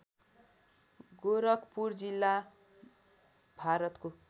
गोरखपुर जिल्ला भारतको